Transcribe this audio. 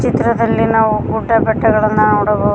ಚಿತ್ರದಲ್ಲಿ ನಾವು ಗುಡ್ಡ ಬೆಟ್ಟಗಳನ್ನ ನೋಡಬ--